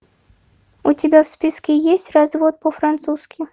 у тебя в списке есть развод по французки